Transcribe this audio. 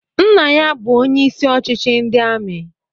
Nna ya bu onye isi ochichi ndị amị